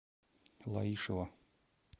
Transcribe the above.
лаишево